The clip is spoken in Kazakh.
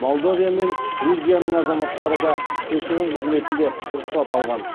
молдовия мен грузияның азаматтары да көші қон қызметінде рұқсат алған